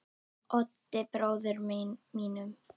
Oddi bróður mínum.